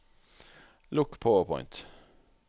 lukk PowerPoint